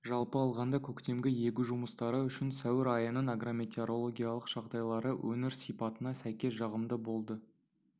жалпы алғанда көктемгі егу жұмыстары үшін сәуір айының агрометеорологиялық жағдайлары өңір сипатына сәйкес жағымды болды